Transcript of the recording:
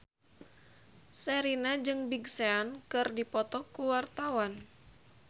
Sherina jeung Big Sean keur dipoto ku wartawan